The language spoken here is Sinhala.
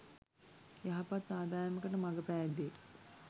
යහපත් ආදායමකට මග පෑදේ.